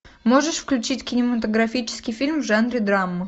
можешь включить кинематографический фильм в жанре драма